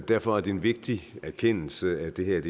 derfor er det en vigtig erkendelse at det her